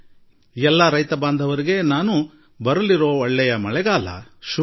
ಆದಾಗ್ಯೂ ಕಳೆದ ಎರಡು ವಾರಗಳಿಂದ ಬೇರೆ ಬೇರೆ ಸ್ಥಳಗಳಿಂದ ಮಳೆ ಆರಂಭವಾದ ಸ್ವಾಗತಾರ್ಹ ಸುದ್ದಿ ಬರುತ್ತಿದೆ